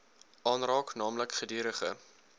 aanraak naamlik gedurige